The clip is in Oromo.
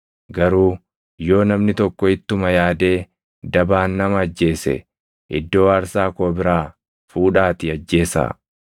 Garuu yoo namni tokko ittuma yaadee dabaan nama ajjeese iddoo aarsaa koo biraa fuudhaatii ajjeesaa.